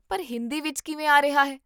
ਪਰ ਹਿੰਦੀ ਵਿੱਚ ਕਿਵੇਂ ਆ ਰਿਹਾ ਹੈ?